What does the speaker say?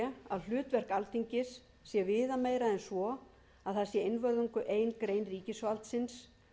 að hlutverk alþingis sé viðameira en svo að það sé einvörðungu ein grein ríkisvaldsins er